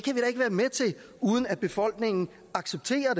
uden at befolkningen accepterer